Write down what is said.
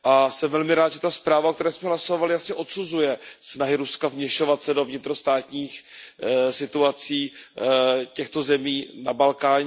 Jsem velmi rád, že ta zpráva, o které jsme hlasovali, odsuzuje snahy Ruska vměšovat se do vnitrostátních situací těchto zemí na Balkáně.